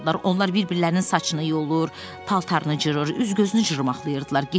Onlar bir-birlərinin saçını yolur, paltarını cırır, üz-gözünü cırmaqlayırdılar.